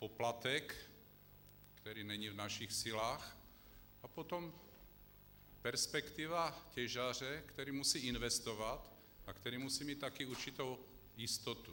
Poplatek, který není v našich silách, a potom perspektiva těžaře, který musí investovat a který musí mít také určitou jistotu.